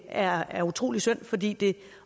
er er utrolig synd fordi det